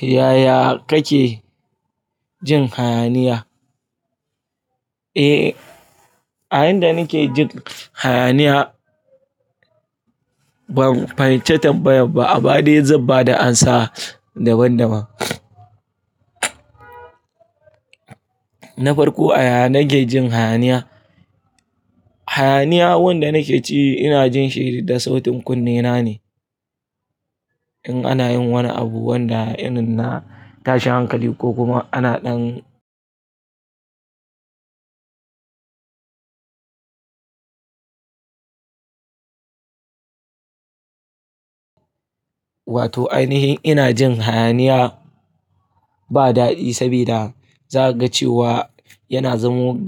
Yaya kake jin hayaniya? E, a inda nake jin hayaniya ban fahimci tambayan ba amma dai zan bada amsa daban-daban. Na farko a yaya nake jin hayaniya? Hayaniya wanda nake ji ina jin shi da sautin kunne na ne. In ana yin wani abu wanda irin na tashin hankali ko kuma ana ɗan wato ai nihin ina jin hayaniya ba daɗi saboda za ka ga cewa yana zamo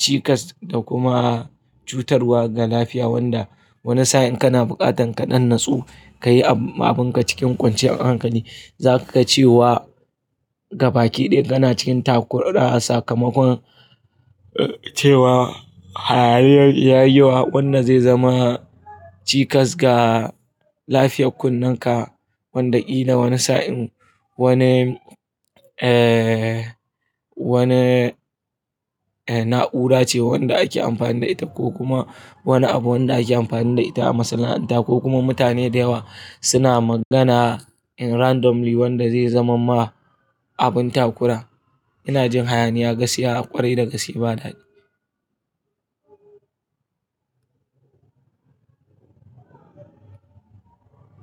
cikas da kuma cutarwa ga lafiya wanda wani sa'in in kana buƙatan kaɗan nutsu kayi abunka cikin kwanciyar hankali. Zavka ga cewa gabaki ɗaya kana cikin takura a sakamakon cewa hayaniyar ya yi yawa wanda zai zama cikas ga lafiyar kunnenka wanda ƙila wani sa'in wani eh wani eh na'ura ce wanda ake amfani da ita ko kuma wani abu wanda ake amfani da ita a masana'anta ko kuma mutane da yawa suna magana in randomly wanda zai zama ma abin takura. Ina jin hayaniya gaskiya ƙwarai da gaske ba daɗi.